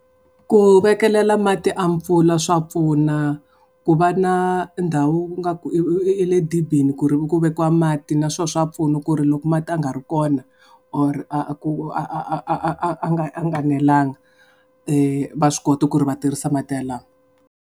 Ku vekelela matimu ya pfula swa pfuna ku va na ndhawu ngaku i le dibini ku ri ku vekiwa mati na swo swa pfuna ku ri loko mati ya nga ri kona, or a ku a a a a a nga a nga nelanga va swi kota ku ri va tirhisa mati yalamo.